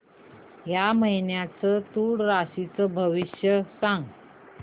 या महिन्याचं तूळ राशीचं भविष्य सांग